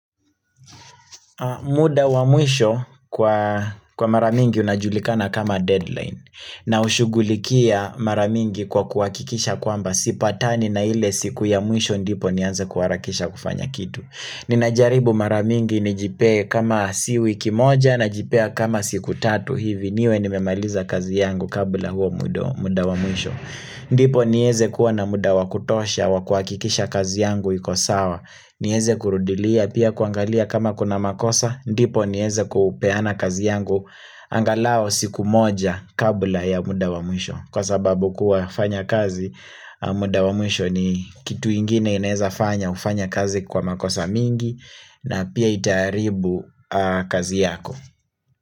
Muda wa mwisho kwa kwa maramingi unajulikana kama deadline na ushugulikia mara mingi kwa kuhakikisha kwamba sipatani na ile siku ya mwisho ndipo nianze kuharakisha kufanya kitu Ninajaribu mara mingi nijipee kama si wiki moja najipea kama siku tatu hivi niwe nimemaliza kazi yangu kabla huo muda wa muisho ndipo nieze kuwa na muda wa kutosha wa kuhakikisha kazi yangu iko sawa niweze kurudilia pia kuangalia kama kuna makosa ndipo nieze kupeana kazi yangu angalau siku moja kabla ya muda wa mwisho Kwa sababu kuwafanya kazi muda wa mwisho ni kitu ingine inaweza fanya ufanye kazi kwa makosa mingi na pia itaharibu kazi yako.